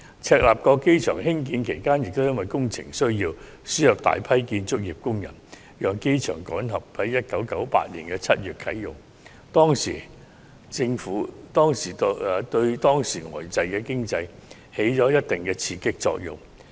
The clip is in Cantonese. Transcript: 赤鱲角機場興建期間，亦因為工程需要而輸入大量建築工人，讓機場趕及在1998年7月啟用，對當時呆滯的經濟亦起了一定的刺激作用。